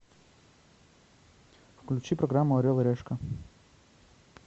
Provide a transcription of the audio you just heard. включи программу орел и решка